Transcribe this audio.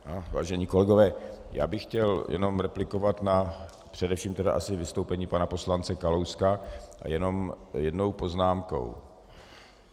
Vážení kolegové, já bych chtěl jenom replikovat na především tedy asi vystoupení pana poslance Kalouska jenom jednou poznámkou.